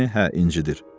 Yəni, hə, incidir.